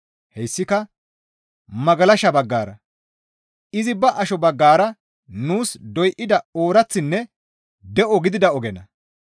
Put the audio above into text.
Hessika magalasha baggara; izi ba asho baggara nuus doyda ooraththinne de7o gidida ogenna.